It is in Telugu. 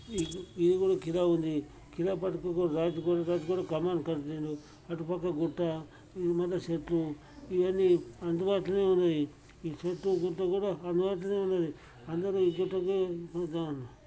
ఇది కూడా ఖిలా ఉంది. ఖిల పక్కకు ఒక రాజుకోట. రాజకోట కమాన్ కనిపిస్తూ అటుపక్కగుట్ట ఇది మల్ల చెట్లు ఇయన్నీ అందుబాటులో ఉన్నాయి ఈ చెట్టు గుట్ట కూడా అందుబాటులో ఉన్నది. అందరూ ఈ చెట్టు కే